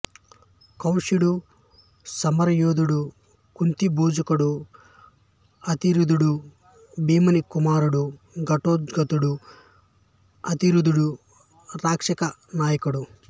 కాశ్యుడు సమరధుడు కుంతిభోజుడు అతిరధుడు భీముని కుమారుడు ఘటోత్కచుడు అతిరధుడు రాక్షస నాయకుడు